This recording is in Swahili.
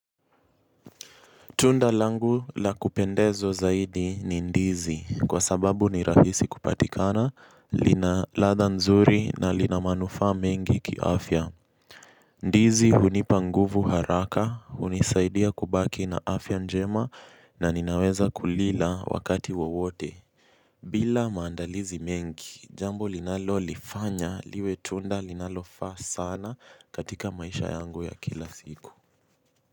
Tunda langu la kupendeza zaidi ni ndizi kwa sababu ni rahisi kupatikana, lina ladha nzuri na lina manufaa mengi kiafya. Ndizi hunipa nguvu haraka, hunisaidia kubaki na afya njema na ninaweza kulila wakati wowote. Bila maandalizi mengi, jambo linalolifanya liwe tunda linalofaa sana katika maisha yangu ya kila siku.